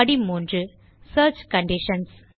படி 3 search conditions